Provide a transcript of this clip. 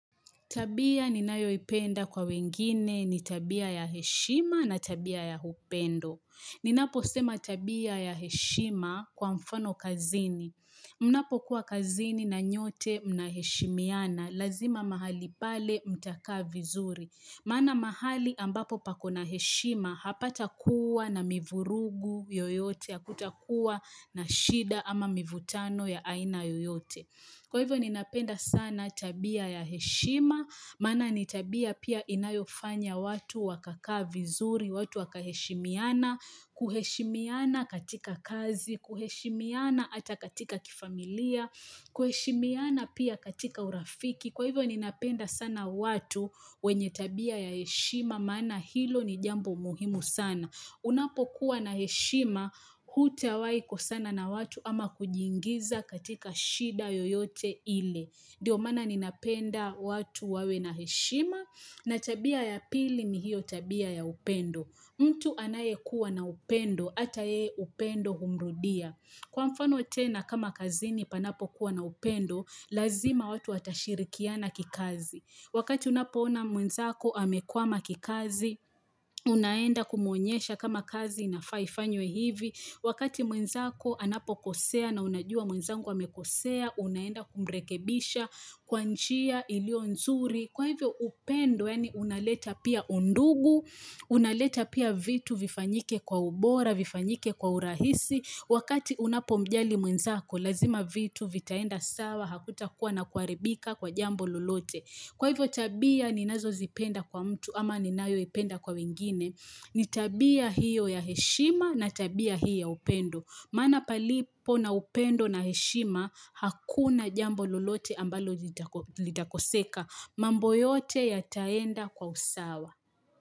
Tabia ninayoipenda kwa wengine ni tabia ya heshima na tabia ya upendo. Ninaposema tabia ya heshima kwa mfano kazini Mnapokuwa kazini na nyote mnaheshimiana lazima mahali pale mtakaa vizuri. Maana mahali ambapo pakona heshima hapatakua na mivurugu yoyote hakutakuwa na shida ama mivutano ya aina yoyote. Kwa hivyo ninapenda sana tabia ya heshima, maana ni tabia pia inayofanya watu wakakaa vizuri, watu wakaheshimiana, kuheshimiana katika kazi, kuheshimiana ata katika kifamilia, kuheshimiana pia katika urafiki. Kwa hivyo ninapenda sana watu wenye tabia ya heshima, maana hilo ni jambo muhimu sana. Unapokuwa na heshima, hutawahi kosana na watu ama kujiingiza katika shida yoyote ile. Dio maana ninapenda watu wawe na heshima, na tabia ya pili ni hiyo tabia ya upendo. Mtu anayekuwa na upendo, ata yeye upendo humrudia. Kwa mfano tena kama kazini panapokuwa na upendo, lazima watu watashirikiana kikazi. Wakati unapoona mwenzako amekwama kikazi, unaenda kumuonyesha kama kazi inafaa ifanywe hivi Wakati mwenzako anapokosea na unajua mwenzangu amekosea unaenda kumrekebisha kwa nchia ilio nzuri Kwa hivyo upendo yaani unaleta pia undugu, unaleta pia vitu vifanyike kwa ubora, vifanyike kwa urahisi Wakati unapomjali mwenzako lazima vitu vitaenda sawa hakutakuwa na kuaribika kwa jambo lolote. Kwa hivyo tabia ninazozipenda kwa mtu ama ninayoipenda kwa wengine ni tabia hiyo ya heshima na tabia hiyo ya upendo. Maana palipo na upendo na heshima hakuna jambo lolote ambalo lidakoseka. Mambo yote yataenda kwa usawa.